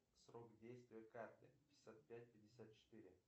срок действия карты пятьдесят пять пятьдесят четыре